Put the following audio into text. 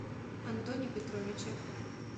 антоне петровиче